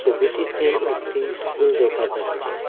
ছবিটিতে একটি স্কুল দেকা যাচ্ছে।